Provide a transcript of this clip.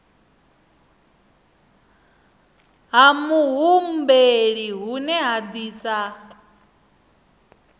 ha muhumbeli hune ha disa